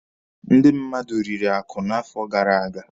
Ndị mmadụ riri akụ n'afọ gara aga.